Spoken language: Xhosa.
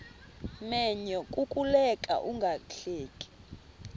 menyo kukuleka ungahleki